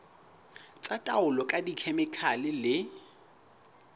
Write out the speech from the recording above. tsa taolo ka dikhemikhale le